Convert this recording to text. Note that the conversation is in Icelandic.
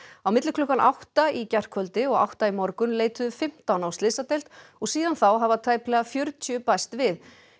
á milli klukkan átta í gærkvöldi og átta í morgun leituðu fimmtán á slysadeild og síðan þá hafa tæplega fjörutíu bæst við